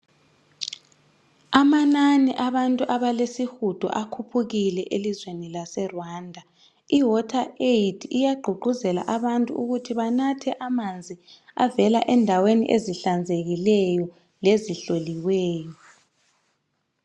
Amanani abantu abalesihudo akhuphukile elizweni lase Rwanda. Iwateraid iyagqugquzela abantu ukuthi banathe amanzi avela endaweni ezihlanzekileyo lezihloliweyo.